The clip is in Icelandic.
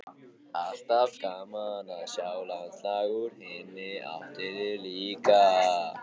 Alltaf gaman að sjá landslag úr hinni áttinni líka.